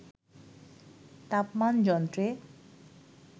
তাপমান যন্ত্রে